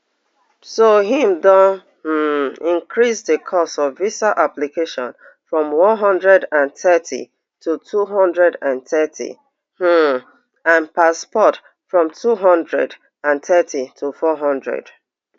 so im don um increase di cost of visa application from one hundred and thirty to two hundred and thirty um and passport from two hundred and thirty to four hundred